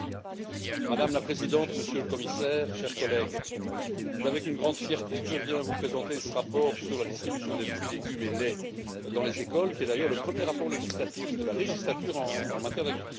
Madame la Présidente, Monsieur le Commissaire, chers collègues, c'est avec une grande fierté que je viens vous présenter ce rapport sur la distribution de fruits, de légumes et de lait dans les écoles, qui est d'ailleurs le premier rapport législatif de la législature en matière d'agriculture.